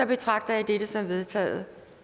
betragter jeg dette som vedtaget